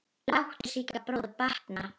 Láttu Sigga bróður batna.